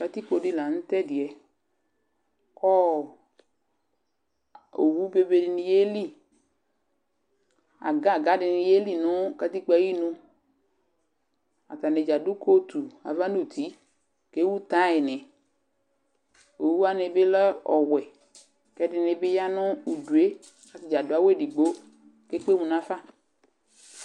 Katikpo dɩ la nʋ tʋ ɛdɩ yɛ kʋ ɔ owu bebe dɩnɩ yeli Agaga dɩnɩ yeli nʋ katikpo yɛ nu, atanɩ dza adʋ kotu nʋ ava nʋ uti kʋ ewu taynɩ Owu wanɩ bɩ lɛ ɔwɛ kʋ ɛdɩnɩ bɩvya nʋ udu kʋ atanɩ adʋ awʋ edigbo kʋ ekpe emu nafa